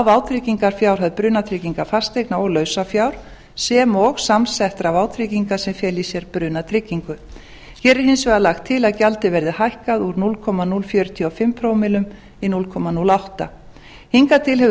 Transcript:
vátryggingarfjárhæð brunatryggingar fasteigna og lausafjár sem og samsettra vátrygginga sem fela í sér brunatryggingu hér er hins vegar lagt til að gjaldið verði hækkað úr núll komma núll fjörutíu og fimm prómillum í núll komma núll átta hingað til hefur